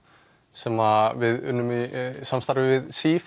sem við unnum í samstarfi við